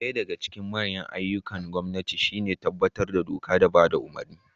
Daya daga cikin manyan ayyukan gwamnati shi ne tabbatar da doka da bada umurni